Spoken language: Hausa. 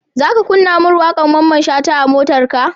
Zaka kunna mun waƙar mamman shata a motarka?